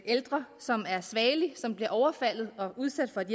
ældre som er svagelig og som bliver overfaldet og udsat for et